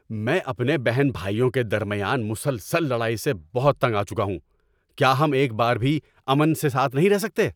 میں اپنے بہن بھائیوں کے درمیان مسلسل لڑائی سے بہت تنگ آ چکا ہوں۔ کیا ہم ایک بار بھی امن سے ساتھ نہیں رہ سکتے؟